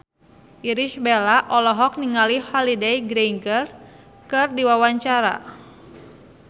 Irish Bella olohok ningali Holliday Grainger keur diwawancara